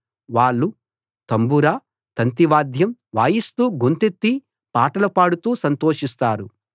వాళ్ళు తంబుర తంతివాద్యం వాయిస్తూ గొంతెత్తి పాటలు పాడుతూ సంతోషిస్తారు